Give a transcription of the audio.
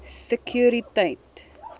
sekuriteit